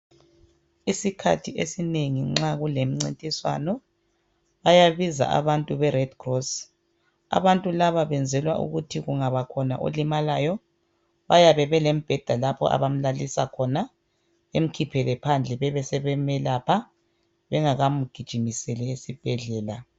Isikhathi esinengi nxa kulemncintiswano bayabiza abantu be red cross. Abantu laba benzelwa ukuthi kungabakhona olimalayo bayabe belembheda lapho abamlalisa khona bemkhiphele phandle bebesebemelaoha bengakamgijimiseli esibhedlela.